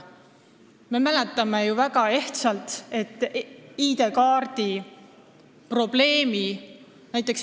Me mäletame ju äsjast ID-kaardiga seotud probleemi.